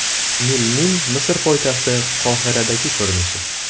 Nilning Misr poytaxti Qohiradagi ko‘rinishi.